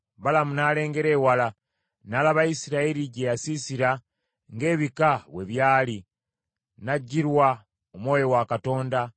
Balamu n’alengera ewala, n’alaba Isirayiri gye yasiisira ng’ebika bwe byali, n’ajjirwa Omwoyo wa Katonda,